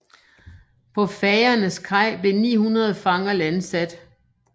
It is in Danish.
På Fagernes kaj blev 900 fanger landsat